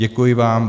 Děkuji vám.